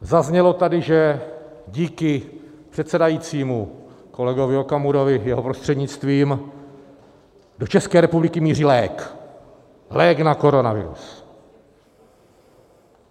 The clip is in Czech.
Zaznělo tady, že díky předsedajícímu kolegovi Okamurovi, jeho prostřednictvím, do České republiky míří lék, lék na koronavirus.